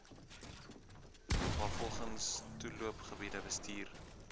waarvolgens toeloopgebiede bestuur